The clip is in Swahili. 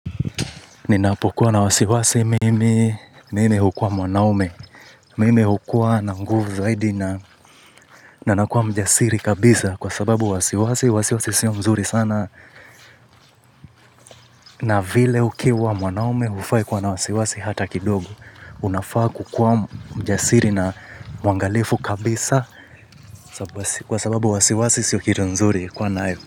Ninapokuwa na wasiwasi mimi, mimi hukuwa mwanaume, mimi hukuwa na nguvu zaidi na nakua mjasiri kabisa kwa sababu wasiwasi, wasiwasi sio mzuri sana. Na vile ukiwa mwanaume hufai kuwa na wasiwasi hata kidogo, unafaa kukuwa mjasiri na mwangalifu kabisa kwa sababu wasiwasi sio kitu nzuri kuwa nayo.